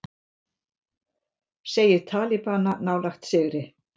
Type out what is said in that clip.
Segir talibana nálægt sigri